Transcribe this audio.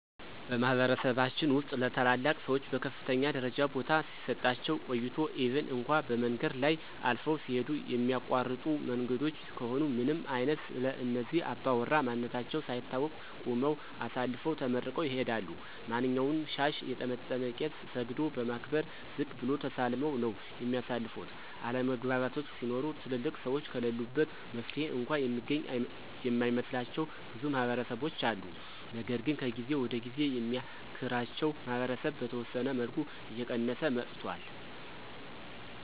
በማህበረሰባችን ውስጥ ለታላላቅ ሰዎች በከፍተኛ ደረጃ ቦታ ሲሰጣቸው ቆይቷል ኢቭን እንኳ በመንገድ ላይ አልፈው ሲሂዱ የሚያቋርጡ መንገዶች ከሆኑ ምንም አይነት ስለእነዚህ አባውራ ማንነታቸው ሳይታወቅ ቁመው አሳልፈው ተመርቀው ይሂዳሉ። ማንኛውንም ሻሽ የጠመጠመ ቄስ ሰግዶ በማክበር ዝቅ ብሎ ተሳልመው ነው የሚያልፉት፤ አለመግባባቶች ሲኖሩ ትልልቅ ሰዎች ከለሉበት መፍትሔ እንኳ የሚገኝ የማይመስላቸው ብዙ ማህበረሰቦች አሉ። ነገር ግን ከጊዜ ወደ ጊዜ የሚያክራቸው ማህበረሰብ በተወሰነ መልኩ እየቀየሰ መጥቷል።